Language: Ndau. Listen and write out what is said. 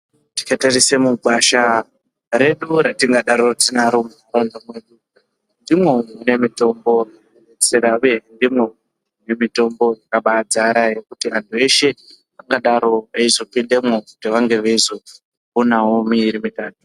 Tikatarisa mugwasha redu ratingadaro tinaro munharaunda mwedu ndimwo mune mitombo dzakabaazara zvekuti anhu veshe vangadaro veizopindamwo veizoonawo miiri mitatu.